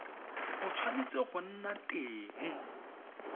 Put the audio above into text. o tshwanetse go nna teng